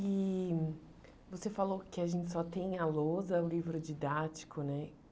E você falou que a gente só tem a lousa, o livro didático, né?